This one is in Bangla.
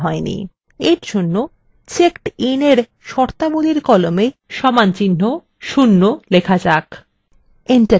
এরজন্য checkedin for শর্তাবলীর column সমানচিহ্ন ০ লেখা যাক